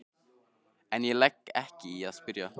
En ég legg ekki í að spyrja.